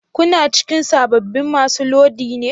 Kuna cikin sabbin masu lodi?